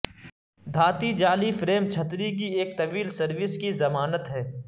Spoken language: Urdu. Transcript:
دھاتی جعلی فریم چھتری کی ایک طویل سروس کی ضمانت ہے